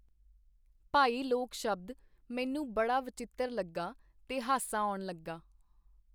ਭਾਈ-ਲੋਕ ਸ਼ਬਦ ਮੈਨੂੰ ਬੜਾ ਵਚਿੱਤਰ ਲੱਗਾ ਤੇ ਹਾਸਾ ਆਉਣ ਲੱਗਾ.